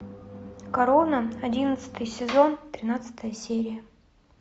корона одиннадцатый сезон тринадцатая серия